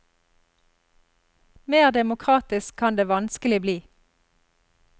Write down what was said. Mer demokratisk kan det vanskelig bli.